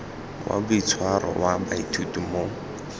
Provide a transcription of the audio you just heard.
wa boitshwaro wa baithuti mo